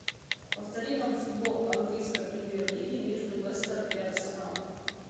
повтори нам футбол английской премьер лиги между лестер и арсенал